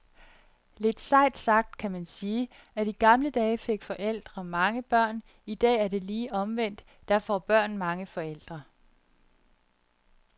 Lidt sejt sagt kan man sige, at i gamle dage fik forældre mange børn, i dag er det lige omvendt, da får børn mange forældre.